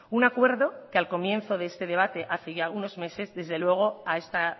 un acuerdo que al comienzo de este debate hace ya unos meses desde luego a esta